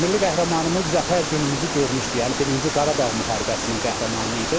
Milli qəhrəmanımız zəfər günümüzü görmüşdü, yəni Birinci Qarabağ müharibəsinin qəhrəmanı idi.